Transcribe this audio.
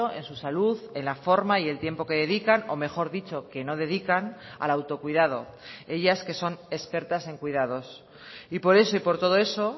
en su salud en la forma y el tiempo que dedican o mejor dicho que no dedican al autocuidado ellas que son expertas en cuidados y por eso y por todo eso